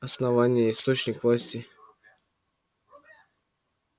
основание источник власти